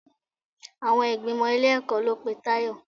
Àwọn ìgbìmò ilé-ẹ̀kọ́ ló pe Tayọ.